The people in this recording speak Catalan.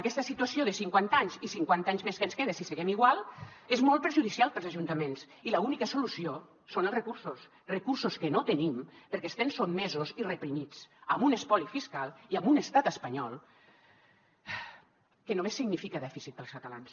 aquesta situació de cinquanta anys i cinquanta anys més que ens queden si seguim igual és molt perjudicial per als ajuntaments i l’única solució són els recursos recursos que no tenim perquè estem sotmesos i reprimits amb un espoli fiscal i amb un estat espanyol que només significa dèficit per als catalans